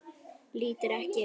Lítur ekki upp.